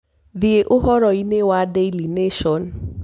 thie uhoro ini wa daily nation